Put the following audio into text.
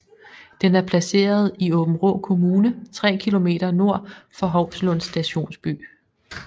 Den er placeret i Aabenraa Kommune 3 km nord for Hovslund Stationsby